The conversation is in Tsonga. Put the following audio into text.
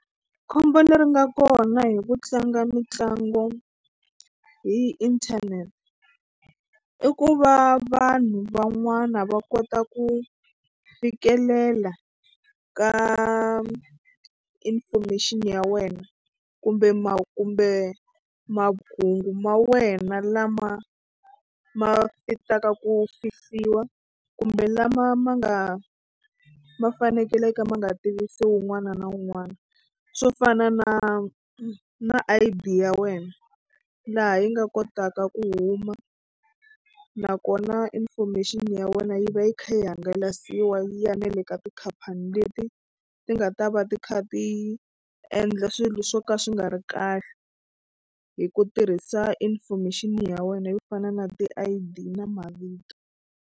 Khombo leri nga kona hi ku tlanga mitlangu hi inthanete i ku va vanhu van'wana va kota ku fikelela ka information ya wena kumbe ma kumbe ma wena lama ma fit-aka ku fihliwa kumbe lama ma nga ma fanekele ma nga tivisi wun'wana na wun'wana swo fana na na I_D ya wena laha yi nga kotaka ku huma nakona information ya wena yi va yi kha yi ya hangalasiwa ya na le ka tikhamphani leti ti nga ta va ti kha ti endla swilo swo ka swi nga ri kahle hi ku tirhisa information ya wena yo fana na ti-I_D na mavito.